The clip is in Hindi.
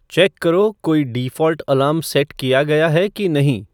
चेक करो कोई डिफ़ॉल्ट अलार्म सेट किया गया है कि नहीं